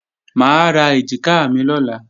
Mà á ra èjìká mi lọ́la